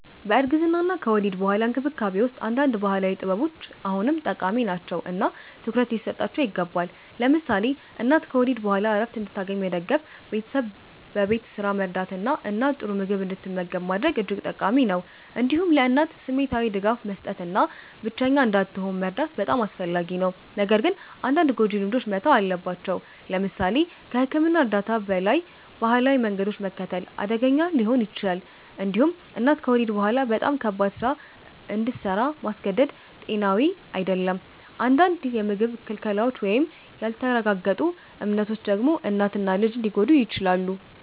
በእርግዝና እና ከወሊድ በኋላ እንክብካቤ ውስጥ አንዳንድ ባህላዊ ጥበቦች አሁንም ጠቃሚ ናቸው እና ትኩረት ሊሰጣቸው ይገባል። ለምሳሌ እናት ከወሊድ በኋላ ዕረፍት እንድታገኝ መደገፍ፣ ቤተሰብ በቤት ስራ መርዳት እና እናት ጥሩ ምግብ እንድትመገብ ማድረግ እጅግ ጠቃሚ ነው። እንዲሁም ለእናት ስሜታዊ ድጋፍ መስጠት እና ብቸኛ እንዳትሆን መርዳት በጣም አስፈላጊ ነው። ነገር ግን አንዳንድ ጎጂ ልማዶች መተው አለባቸው። ለምሳሌ ከሕክምና እርዳታ በላይ ባህላዊ መንገዶችን መከተል አደገኛ ሊሆን ይችላል። እንዲሁም እናት ከወሊድ በኋላ በጣም ከባድ ስራ እንድሰራ ማስገደድ ጤናዊ አይደለም። አንዳንድ የምግብ ክልከላዎች ወይም ያልተረጋገጡ እምነቶች ደግሞ እናትን እና ልጅን ሊጎዱ ይችላሉ።